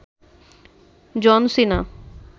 জন সিনা